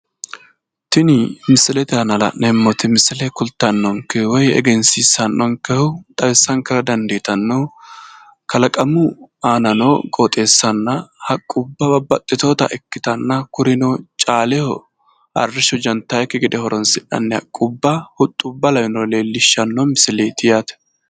Tini misilete aana la'neemmoti misile kultannonkehu woy egensiissannonkehu xawissankera dandiitannohu kalaqamu aanano woy qooxeessaho haqqubba babbaxxitewoota ikkitanna kurino caaleho arrishsho gantannokki gede kaa'litannonna hattono huxxubba leellishshanno misileeti yaate.